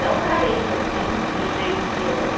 Não carente assim do jeito que era.